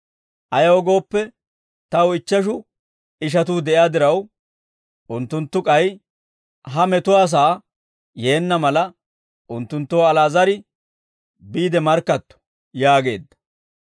Ayaw gooppe, taw ichcheshu ishatuu de'iyaa diraw, unttunttu k'ay ha metuwaasaa yeenna mala, unttunttoo Ali'aazar biide markkatto› yaageedda.